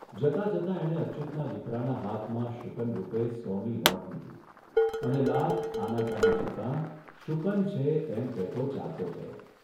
જતા જતા એણે અચ્યુતના દીકરાના હાથમાં શુકનરૂપે સોની નોટ મૂકી અને લાખ આનાકાની છતાં ' શુકન છે ' એમ કહેતો ચાલતો થયો